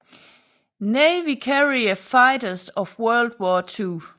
Navy Carrier Fighters of World War II